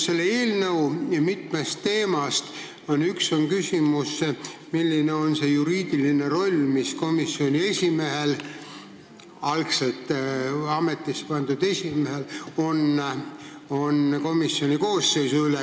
Selle eelnõu mitme teema hulgas on küsimus, milline on see juriidiline roll, mis komisjoni esimehel, algselt ametisse pandud esimehel on komisjoni koosseisu valimisel.